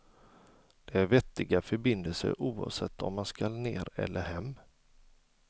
Det är vettiga förbindelser oavsett om jag skall ner eller hem.